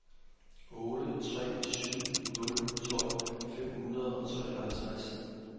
otte tre syv nul tolv fem hundrede og treoghalvtreds